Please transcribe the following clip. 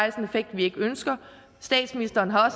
effekt vi ikke ønsker statsministeren har